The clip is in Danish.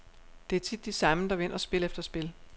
Det er tit de samme, der vinder spil efter spil.